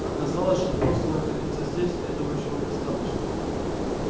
оказалось что просто находиться здесь этого ещё недостаточно